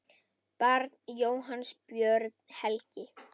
Barn Jóhanns Björn Helgi.